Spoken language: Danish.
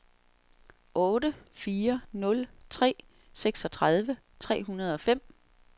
otte fire nul tre seksogtredive tre hundrede og fem